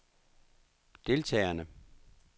deltagerne